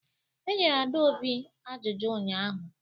Enyere Adaobi ajụjụ ụnyahụ